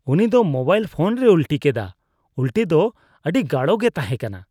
ᱩᱱᱤ ᱫᱚ mobile phone ᱨᱮᱭ ᱩᱞᱴᱤ ᱠᱮᱫᱟ ᱾ ᱩᱞᱴᱤ ᱫᱚ ᱟᱹᱰᱤ ᱜᱟᱲᱚ ᱜᱮ ᱛᱟᱦᱮᱠᱟᱱᱟ ᱾